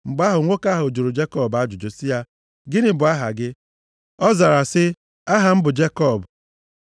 Mgbe ahụ nwoke ahụ jụrụ Jekọb ajụjụ sị ya, “Gịnị bụ aha gị?” Ọ zara sị, “Aha m bụ Jekọb.”